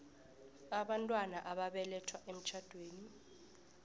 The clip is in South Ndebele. abantwana ababelethwe emtjhadweni